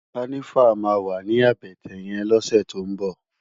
Kànivá mà wá ni àbètè yèn lòsè tó n bò